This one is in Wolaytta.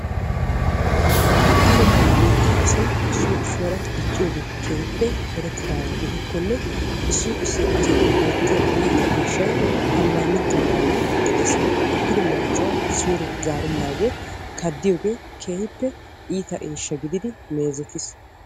Daroto nu biittaa asay issoy issuwaara dicciyoge keehippe erettidaagaa gidikkonne issi issi asatun beettiya iita eeshshay ammanettennaagee de'ees. Ekkido marccuwa suure zaarennaagee kaaddiyoogee keehippe iita eeshsha gididi meezetiis.